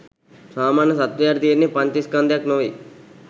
සාමාන්‍ය සත්වයාට තියෙන්නේ පංච ස්කන්ධයක් නෙවෙයි